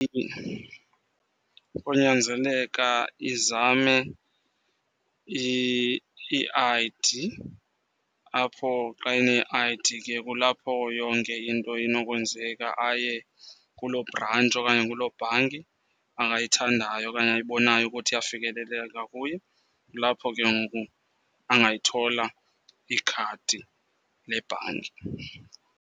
Konyanzeleka izame i-I_D, apho xa ene-I_D ke kulapho yonke into inokwenzeka. Aye kulo brantshi okanye kuloo bhanki angayithandayo okanye ayibonayo ukuthi iyafikeleleka kuye. Kulapho ke ngoku angayithola ikhadi lebhanki.